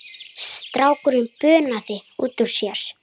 Strákur bunaði út úr sér